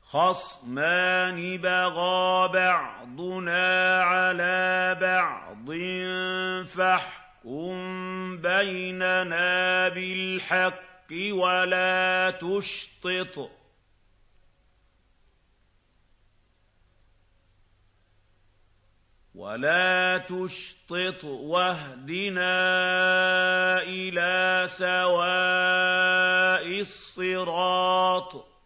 خَصْمَانِ بَغَىٰ بَعْضُنَا عَلَىٰ بَعْضٍ فَاحْكُم بَيْنَنَا بِالْحَقِّ وَلَا تُشْطِطْ وَاهْدِنَا إِلَىٰ سَوَاءِ الصِّرَاطِ